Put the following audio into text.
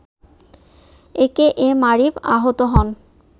একে এম আরিফ আহত হন